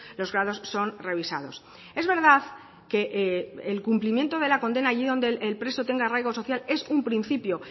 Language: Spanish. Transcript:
los grados son revisados es verdad que el cumplimiento de la condena allí donde el preso tenga arraigo social es un principio